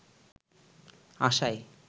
আশায়